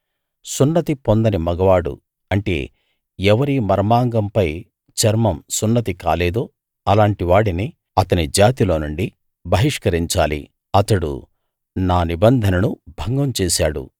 సున్నతి పొందని మగవాడు అంటే ఎవరి మర్మాంగం పై చర్మం సున్నతి కాలేదో అలాంటివాడిని అతని జాతిలోనుండి బహిష్కరించాలి అతడు నా నిబంధనను భంగం చేశాడు